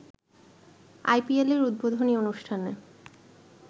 আইপিএলের উদ্বোধনী অনুষ্ঠানে